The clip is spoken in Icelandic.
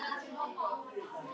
Takk fyrir þig, mamma mín.